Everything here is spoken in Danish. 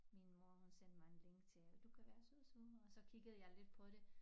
Min mor hun sendte mig en link til du kan være sosu og så kiggede jeg lidt på det